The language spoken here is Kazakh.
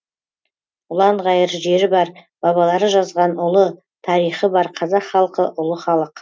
ұланғайыр жері бар бабалары жазған ұлы тарихы бар қазақ халқы ұлы халық